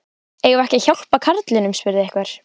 Eigum við ekki að hjálpa karlinum? spurði einhver.